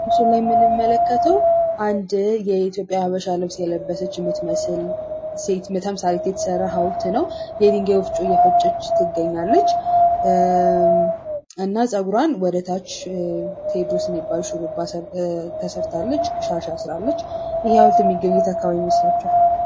በምስሉ ላይ የምንመለከተው አንድ የኢትዮጵያ ሀበሻ ባህላዊ ልብስ የለበሰች የምትመስል ሴት ምስል የተሰራ ሀውልት ነው። በድንጋይ ወፍጮ እየፈጨች ትገኛለች። እና ጸጉሯን ወደታች ቴዎድሮስ የሚባል ሹርባ ተሰርታለች። ሻሽ አስራለች። ይህ ሀውልት የሚገኘው የት አካባቢ ይመስላችኋል?